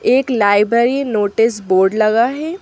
एक library notice board लगा है।